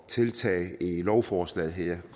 tiltaget i lovforslaget her